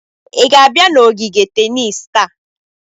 ị ga-abịa n'ogige tenis taa?